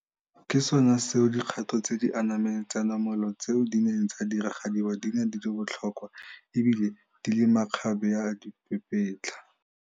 Ke sona seo dikgato tse di anameng tsa namolo tseo di neng tsa diragadiwa di ne di le botlhokwa ebile di le makgabeadipapetla.